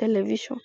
television